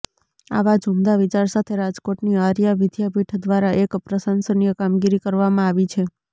આવા જ ઉમદા વિચાર સાથે રાજકોટની આર્યા વિઘાપીઠ દ્વારા એક પ્રશંસનીય કામગીરી કરવામાં આવી છે